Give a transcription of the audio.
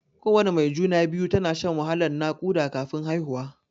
Kowana mai juna-biyu tana shan wahalan naƙuda kafin haihuwa.